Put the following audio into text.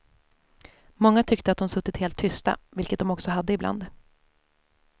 Många tyckte att de suttit helt tysta, vilket de också hade ibland.